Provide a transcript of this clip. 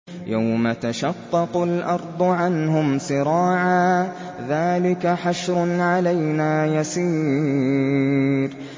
يَوْمَ تَشَقَّقُ الْأَرْضُ عَنْهُمْ سِرَاعًا ۚ ذَٰلِكَ حَشْرٌ عَلَيْنَا يَسِيرٌ